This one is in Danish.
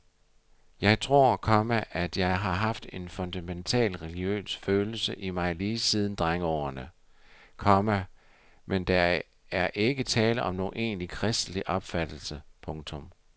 Jeg tror, komma at jeg har haft en fundamental religiøs følelse i mig lige siden drengeårene, komma men der ikke tale om nogen egentlig kristelig opfattelse. punktum